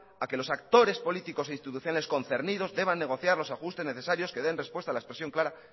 a que los actores políticos y las instituciones concernidas deban negociar los ajustes necesarios que den respuesta a la expresión clara